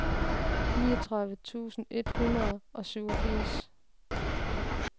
niogtredive tusind et hundrede og syvogfirs